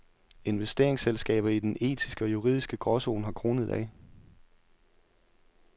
Investeringsselskaber i den etiske og juridiske gråzone har kronede dage.